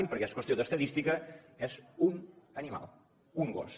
perquè és qüestió d’estadística és un animal un gos